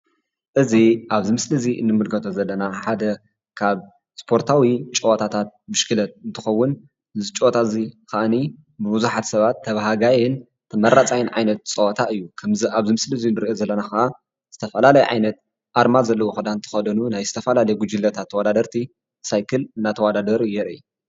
እዚ ኣብዚ ምስሊ እዚ ንምልከቶ ዘለና ሓደ ካብ ስፖርታዊ ጨወታታት ብሽክሌት እንትኸዉን እዚ ፅወታ እዚ ከዓኒ ብብዙሓት ሰባት ተበሃጋይን ተመራፃይን ዓይነት ፀወታ እዩ ከምዚ ኣብዚ ምስሊ እዚ ንሪኦ ዘለና ኸዓ ዝተፈላለየ ኣርማ ዘለዎ ክዳን ዝተከደኑ ናይ ዝተፈላለዩ ጉጅለታት ተወዳዳርቲ ሳይክል እናተወዳደሩ የርኢ።